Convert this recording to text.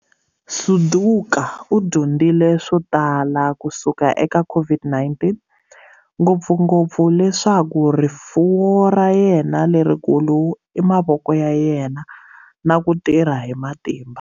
Suduka u dyondzile swo tala kusuka eka COVID-19, ngopfungopfu leswaku rifuwo ra yena lerikulu i mavoko ya yena na ku tirha hi matimba.